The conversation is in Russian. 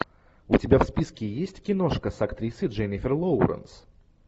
у тебя в списке есть киношка с актрисой дженнифер лоуренс